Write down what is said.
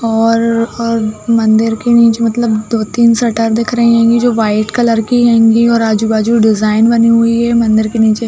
और अ मंदिर के नीचे मतलब दो-तीन शटर दिख रही होंगे जो व्हाइट कलर की होंगे और आजु-बाजू डिज़ाइन बनी हुई है मंदिर के नीचे।